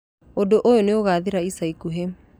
Ũndũ ũyũ nĩ ũgaathira icaikuhĩ.